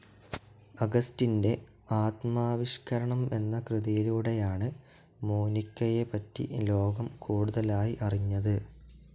അഗസ്റ്റിന്റെ ആത്മാവിഷ്കരണം എന്ന കൃതിയിലൂടെയാണ് മോനിക്കയെപ്പറ്റി ലോകം കൂടുതലായി അറിഞ്ഞത്.